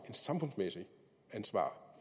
samfundsmæssigt ansvar